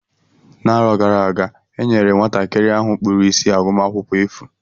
N'arọ gara aga e nyere nwatakịrị ahụ kpụrụ isi agụmakwụkwọ efu.